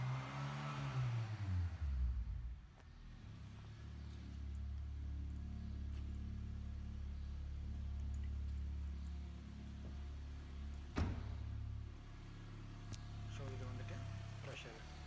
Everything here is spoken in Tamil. so இதை வந்துட்டு pressure